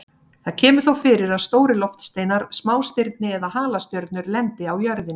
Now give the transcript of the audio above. Það kemur þó fyrir að stórir loftsteinar, smástirni eða halastjörnur lendi á jörðinni.